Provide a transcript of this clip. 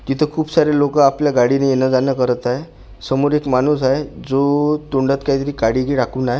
तिथं खूप सारे लोकं आपल्या गाडीने येणं जाणं करत आहे समोर एक माणूस आहे जो तोंडात काहीतरी काडीही टाकून आहे.